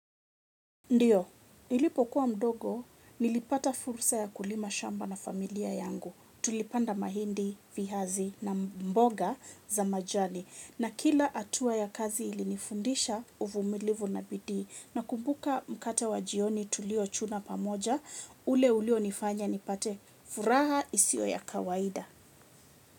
Ndiyo, nilipokuwa mdogo, nilipata fursa ya kulima shamba na familia yangu. Tulipanda mahindi, viazi na mboga za majani. Na kila hatua ya kazi ilinifundisha uvumilivu na bidii. Na kumbuka mkate wa jioni tulio chuna pamoja, ule ulio nifanya nipate furaha isio ya kawaida.